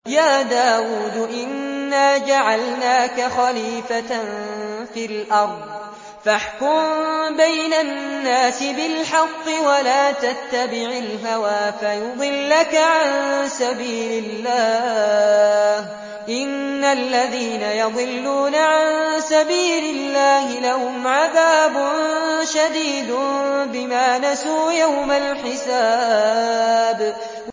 يَا دَاوُودُ إِنَّا جَعَلْنَاكَ خَلِيفَةً فِي الْأَرْضِ فَاحْكُم بَيْنَ النَّاسِ بِالْحَقِّ وَلَا تَتَّبِعِ الْهَوَىٰ فَيُضِلَّكَ عَن سَبِيلِ اللَّهِ ۚ إِنَّ الَّذِينَ يَضِلُّونَ عَن سَبِيلِ اللَّهِ لَهُمْ عَذَابٌ شَدِيدٌ بِمَا نَسُوا يَوْمَ الْحِسَابِ